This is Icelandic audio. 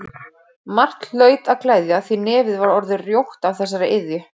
Margt hlaut að gleðja því nefið var orðið rjótt af þessari iðju.